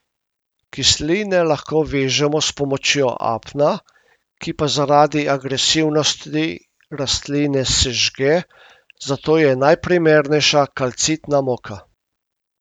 Kisline lahko vežemo s pomočjo apna, ki pa zaradi agresivnosti rastline sežge, zato je najprimernejša kalcitna moka.